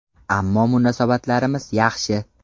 Ammo munosabatlarimiz yaxshi.